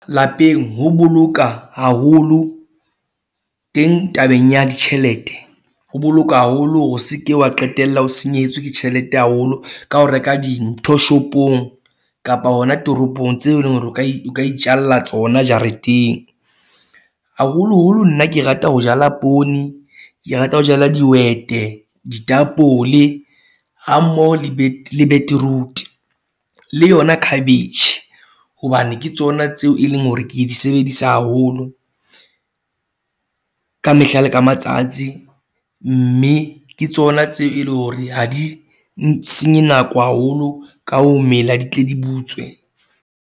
Lapeng ho boloka haholo teng tabeng ya ditjhelete ho boloka haholo hore o se ke wa qetella o senyehetswe ke tjhelete haholo ka ho reka dintho shopong kapa hona toropong tseo eleng hore o ka e o ka itjalla tsona jareteng haholoholo nna ke rata ho jala poone, ke rata ho jala dihwete, ditapole a mo le beetroot le yona cabbage hobane ke tsona tseo e leng hore ke di sebedisa haholo ka mehla le ka matsatsi, mme ke tsona tseo e leng hore ha di senye nako haholo ka ho mela, di tle di butswe.